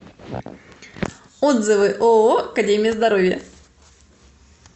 отзывы ооо академия здоровья